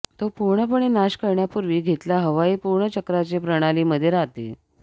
तो पूर्णपणे नाश करण्यापूर्वी घेतला हवाई पूर्ण चक्राचे प्रणाली मध्ये राहते